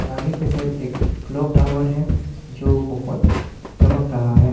आगे के साइड एक क्लॉक टावर है जो बहुत चमक रहा है।